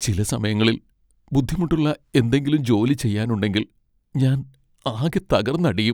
ചില സമയങ്ങളിൽ ബുദ്ധിമുട്ടുള്ള എന്തെങ്കിലും ജോലി ചെയ്യാനുണ്ടെങ്കിൽ ഞാൻ ആകെ തകർന്നടിയും.